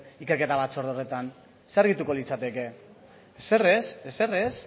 ikerketa batzorde horretan zer argituko litzateke ezer ez ezer ez